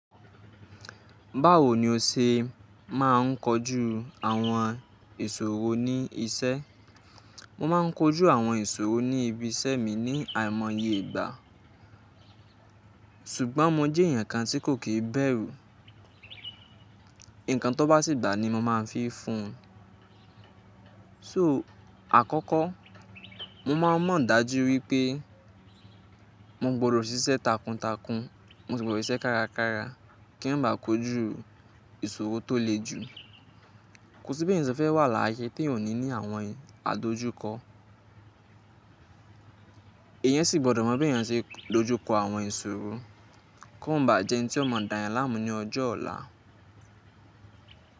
Báwo ni o ṣe máa ń kojú àwọn ìṣòro ní isẹ́? Mo máa ń kojú àwọn ìṣòro ní ibi isẹ́ mi ní àìmoye ìgbà. Ṣùgbọ́n mo jẹ́ ẹ̀yàn kan tí kò kìí bẹ̀rù. Ǹkan tó bá sì gba ni mo máa ń fi fún un. So àkọ́kọ́, mo máa ń mọ̀ dájú wípé mo gbọdọ̀ ṣiṣẹ́ takuntakun, mo sì gbọdọ̀ ṣiṣẹ́ kárakára kí n máa ba kojú ìṣòro tó le jù. Kò sí bí ẹ̀yàn se fẹ́ wà láyé tí ò ní ní àwọn adójúkọ. Ẹ̀an sì gbọdọ̀ mọ bí ẹ̀yàn ṣe dojú kọ àwọn ìṣòro kó má ba jẹ́ ẹni tí ó mọ̀ dáyàn láàmú ní ọjọ́ ọ̀la.